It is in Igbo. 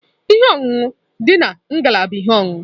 Ihe ọṅụṅụ dị na ngalaba ihe ọṅụṅụ.